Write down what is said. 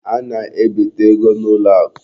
A na-ebite ego n'ụlọakụ.